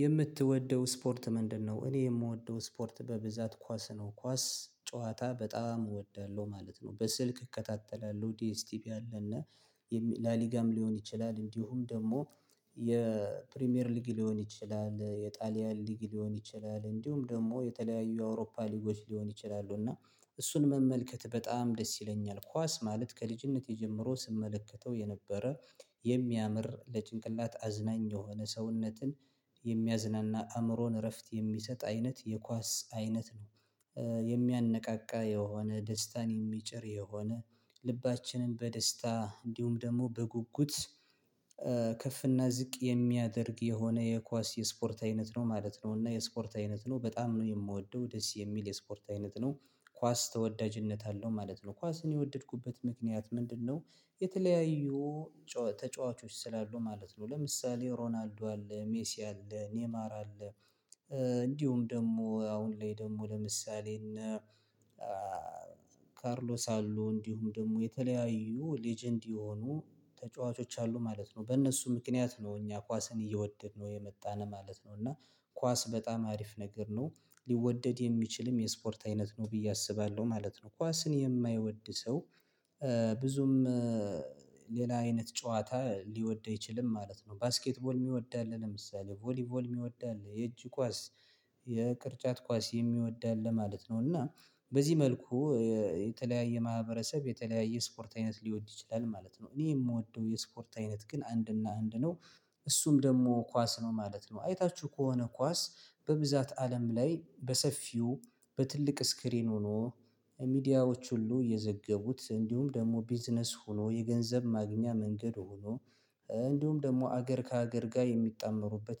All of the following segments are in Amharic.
የምትወደው ስፖርት ምንድነው? እኔ የምወደው ስፖርት በብዛት ኳስ ነው ኳስ ጨዋታ በጣም እወዳለሁ ማለት ነው። በስልክ እከታተላለሁ ዲኤስቲቢ አለና። ላሊጋም ሊሆን ይችላል እንዲሁም ደግሞ የፕሪሚየር ሊግ ሊሆን ይችላል የጣሊያን ሊግ ሊሆን ይችላል እንዲሁም ደግሞ የተለያዩ የአውሮፓ ሊጎች ሊሆን ይችላሉ። እና እሱን መመልከት በጣም ደስ ይለኛል ኳስ ማለት ከልጅነት የጀመረው ስመለከተው የነበረ የሚያምር ለጭንቅላት አዝናኝ የሆነ ሰውነትን የሚያዝናና አእምሮን እረፍት የሚሰጥ አይነት የኳስ አይነት ነው። የሚያነቃቃ የሆነ ደስታን የሚጭር የሆነ ልባችንን በደስታ እንዲሁም ደግሞ በጉጉት ከፍ እና ዝቅ የሚያደርግ የሆነ የኳስ የስፖርት አይነት ነው ማለት ነው። እና የስፖርት አይነት ነው በጣም ነው የምወደው ደስ የሚል የስፖርት አይነት ነው። ኳስ ተወዳጅነት አለው ማለት ነው ኳስን የወደድኩበት ምክንያት ምንድነው? የተለያዩ ተጫዋቾች ስላሉ ማለት ነው ለምሳሌ ሮናልዶ አለ ሜሲ አለ ኔይማር ኔማር አለ። እንዲሁም ደግሞ አሁን ላይ ደግሞ ለምሳሌ እና ካርሎስ አሉ እንዲሁም ደግሞ የተለያዩ ሌጀንድ የሆኑ ተጫዋቾች አሉ ማለት ነው በእነሱ ምክንያት ነው እኛ ኳስን እየወደድን ነው የመጣነው ማለት ነው። እና ኳስ በጣም አሪፍ ነገር ነው ሊወደድ የሚችልም የስፖርት አይነት ነው ብዬ አስባለሁ ማለት ነው። ኳስን የማይወድ ሰው ብዙም ሌላ አይነት ጨዋታ ሊወድ አይችልም ማለት ነው። ባስኬትቦል የሚወድ አለ ለምሳሌ ቮሊቮል የሚወድ የእጅ ኳስ የቅርጫት ኳስ የሚወድ አለ ማለት ነው። እና በዚህ መልኩ የተለያየ ማህበረሰብ የተለያየ ስፖርት አይነት ሊወድ ይችላል ማለት ነው። እኔ የምወደው የስፖርት አይነት ግን አንድና አንድ ነው እሱም ደግሞ ኳስ ነው ማለት ነው። አይታችሁ ከሆነ ኳስ በብዛት አለም ላይ በሰፊው በትልቅ ስክሪን ሆኖ ሚዲያዎች ሁሉ እየዘገቡት እንዲሁም ደግሞ ቢዝነስ ሆኖ የገንዘብ ማግኛ መንገድ። እንዲሁም ደግሞ አገር ከአገር ጋር የሚጣመሩበት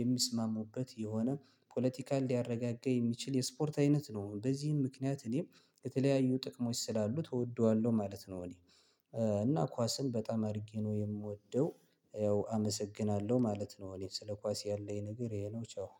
የሚስማሙበት የሆነ ፖለቲካል ሊያረጋጋ የሚችል የስፖርት አይነት ነው። በዚህም ምክንያት እኔም የተለያዩ ጥቅሞች ስላሉ እወደዋለሁ ማለት ነው። እኔ እና ኳስን በጣም አድርጌ ነው የምወደው ያው አመሰግናለሁ ማለት ነው። እኔ ስለ ኳስ ያለኝ ነገር ይሄ ነው። ቻው።